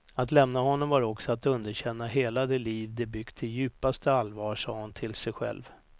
Att lämna honom var också att underkänna hela det liv de byggt i djupaste allvar, sa hon till sig själv.